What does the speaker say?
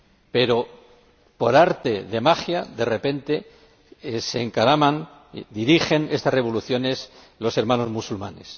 Pero, por arte de magia, de repente se encaraman, dirigen estas revoluciones los hermanos musulmanes.